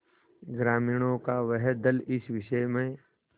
ग्रामीणों का वह दल इस विषय में